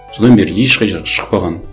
содан бері ешқай жақ шықпаған